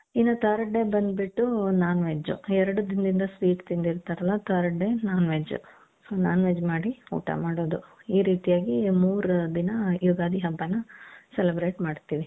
ಇನ್ನ third day ಬಂದ್ಬಿಟ್ಟು non veg ಎರಡು ದಿನದಿಂದ sweet ತಿಂದಿರ್ತಾರಲ್ಲ third day non veg non veg ಮಾಡಿ ಊಟ ಮಾಡೋದು ಈ ರೀತಿಯಾಗಿ ಮೂರು ದಿನ ಯುಗಾದಿ ಹಬ್ಬಾನ celebrate ಮಾಡ್ತೀವಿ .